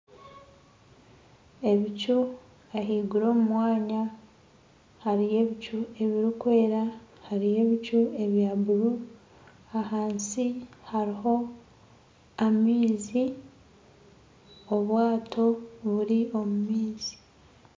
Ebicu ahaiguru omu mwanya hariyo ebicu ebirikwera hariyo ebicu ebyaburu ahansi hariyo amaizi obwaato buri omu maizi